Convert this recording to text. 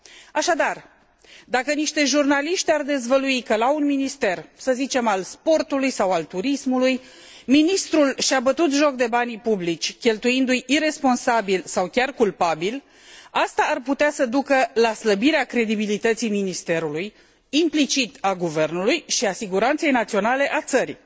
Așadar, dacă niște jurnaliști ar dezvălui că la un minister, să zicem al sportului, sau al turismului, ministrul și a bătut joc de banii publici, cheltuindu i iresponsabil sau chiar culpabil, asta ar putea să ducă la slăbirea credibilității ministerului, implicit a guvernului și a siguranței naționale a țării.